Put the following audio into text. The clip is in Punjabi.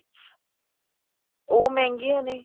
ਉਹ ਮਹਿੰਗੀਆਂ ਨੇ